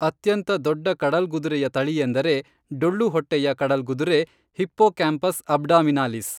ಅತ್ಯಂತ ದೊಡ್ಡ ಕಡಲ್ಗುದುರೆಯ ತಳಿಯೆಂದರೆ ಡೊಳ್ಳು ಹೊಟ್ಟೆಯ ಕಡಲ್ಗುದುರೆ ಹಿಪ್ಪೋಕ್ಯಾಂಪಸ್ ಅಬ್ಡಾಮಿನಾಲಿಸ್